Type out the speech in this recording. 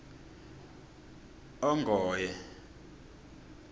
ongoye